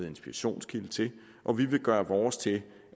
inspirationskilde til og vi vil gøre vores til